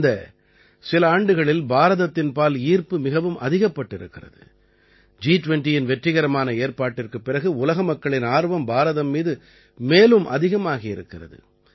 கடந்த சில ஆண்டுகளில் பாரதத்தின்பால் ஈர்ப்பு மிகவும் அதிகப்பட்டிருக்கிறது ஜி20யின் வெற்றிகரமான ஏற்பாட்டிற்குப் பிறகு உலக மக்களின் ஆர்வம் பாரதம் மீது மேலும் அதிகமாகி இருக்கிறது